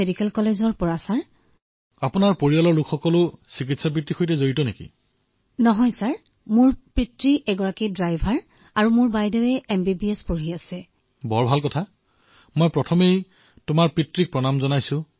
ঠিক আছে কৃতিকা জী আপোনাৰ মাতৃক মোৰ প্ৰণাম জনাব